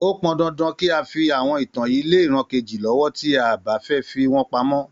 Ó pọn dandan kí a fi àwọn ìtàn yìí lé ìran kejì lọ́wọ́, tí a bá fẹ́ fi wọ́n pamọ́.